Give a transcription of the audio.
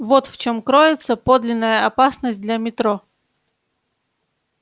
вот в чем кроется подлинная опасность для метро